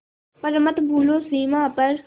पर मत भूलो सीमा पर